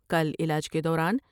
کل علاج کے دوران